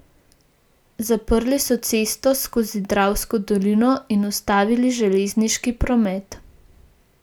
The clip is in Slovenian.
Zaprli so cesto skozi dravsko dolino in ustavili železniški promet.